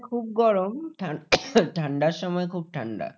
খুব গরম ঠা ঠান্ডার সময় খুব ঠান্ডা।